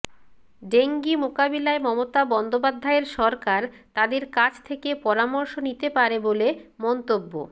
dengue মোকাবিলায় মমতা বন্দ্যোপাধ্যায়ের সরকার তাঁদের কাছ থেকে পরামর্শ নিতে পারে বলে মন্তব্য